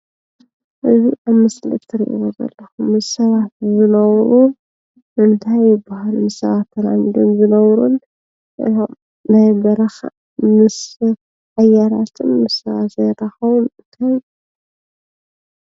እዚ ኣብ ምስሊ እትሪእዎ ዘለኩም ምስ ሰባት ዝነብሩ እንታይ ይበሃሉ? ምስ ሰባት ተላሚዶም ዝነብሩን ናይ በረካ ምስ ሰብ ሓያላትን ምስ ሰብ ዘይራከቡን እንታይ ይበሃሉ?